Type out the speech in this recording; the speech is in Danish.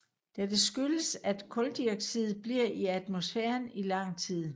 Dette skyldes at kuldioxid bliver i atmosfæren i lang tid